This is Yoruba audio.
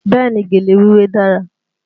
Bẹ́ẹ̀ ni, gèlè wíwé dára